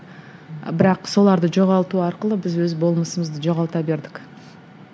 бірақ соларды жоғалту арқылы біз өз болмысымызды жоғалта бердік